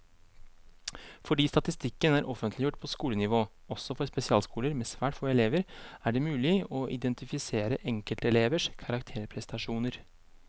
Fordi statistikken er offentliggjort på skolenivå, også for spesialskoler med svært få elever, er det mulig å identifisere enkeltelevers karakterprestasjoner.